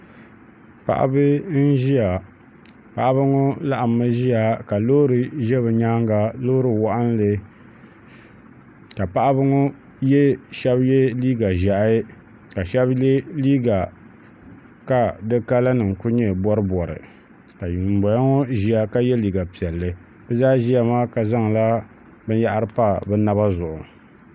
Paɣaba n ʒiya paɣaba ŋo laɣammi ʒiya ka loori ʒɛ bi nyaanga loori waɣanli ka paɣaba ŋo shab yɛ liiga ƶiɛhi ka shab yɛ liiga ka di kala nim ku nyɛ boribori ka ŋun boŋo ŋo yɛ liiga piɛlli bi zaa ʒiya maa ka zaŋla binyahari pa bi naba zuɣu